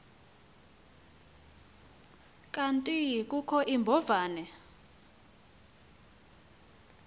kanti kukho iimbovane